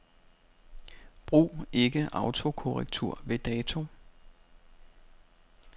Brug ikke autokorrektur ved dato.